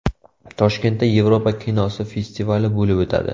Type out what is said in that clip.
Toshkentda Yevropa kinosi festivali bo‘lib o‘tadi.